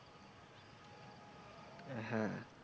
হ্যাঁ।